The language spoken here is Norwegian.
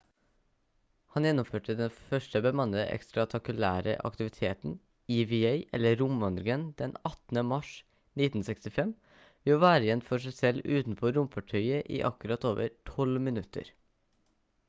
han gjennomførte den første bemannede ekstratakulære aktiviteten eva eller «romvandringen» den 18 mars 1965 ved å være igjen for seg selv utenfor romfartøyet i akkurat over 12 minutter